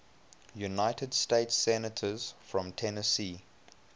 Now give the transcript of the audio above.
united states senators from tennessee